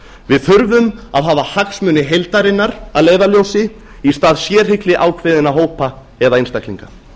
við þurfum að hafa hagsmuni heildarinnar að leiðarljósi í stað sérhygli ákveðinna hópa eða einstaklinga